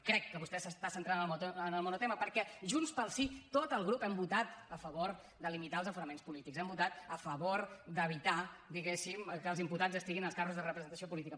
crec que vostè s’està centrant en el monotema perquè junts pel sí tot el grup hem votat a favor de limitar els aforaments polítics hem votat a favor d’evitar diguéssim que els imputats estiguin als càrrecs de representació política